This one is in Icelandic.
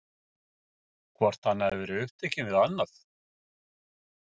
Hvort hann hafi verið upptekinn við annað?